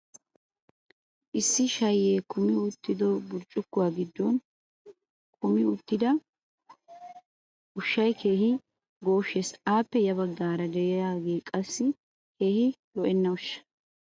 issi shayee kummi uttido burccukkuwaa giddon kummi uttida ushshay asaa keehi gooshshees. appe ya bagaara diyaagee qaassi keehi lo'enna ushsha.